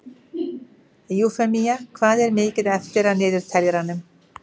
Eufemía, hvað er mikið eftir af niðurteljaranum?